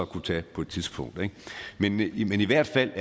kunne tage på et tidspunkt men det er i hvert fald